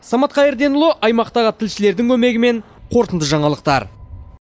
самат қайырденұлы аймақтағы тілшілердің көмегімен қорытынды жаңалықтар